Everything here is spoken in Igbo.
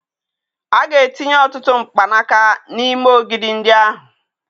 A ga-etinye ọtụtụ mkpanaka n'ime ogidi ndị ahụ